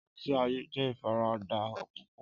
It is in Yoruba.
Ọti aye jẹ ifarada pupọ.